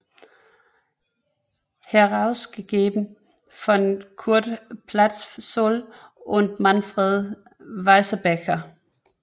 Herausgegeben von Kurt Pätzold und Manfred Weißbecker